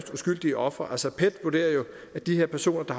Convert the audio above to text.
uskyldige ofre altså pet vurderer jo at de her personer